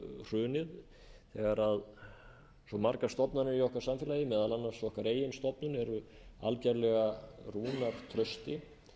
hrunið þegar svo margar stofnanir í okkar samfélagi meðal annars okkar eigin stofnun eru algerlega rúnar trausti